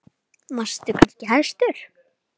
Varst þú kannski hæstur?